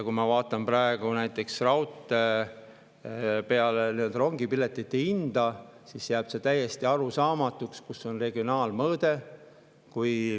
Kui ma vaatan praegu raudteed ja rongipiletite hinda, siis jääb täiesti arusaamatuks, kus on regionaalmõõde.